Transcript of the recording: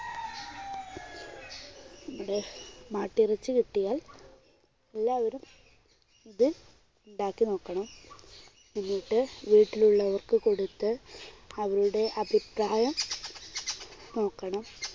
നമ്മുടെ മാട്ടിറച്ചി കിട്ടിയാൽ എല്ലാവരും ഇത് ഉണ്ടാക്കി നോക്കണം. എന്നിട്ട് വീട്ടിൽ ഉള്ളവർക്ക് കൊടുത്ത് അവരുടെ അഭിപ്രായം നോക്കണം.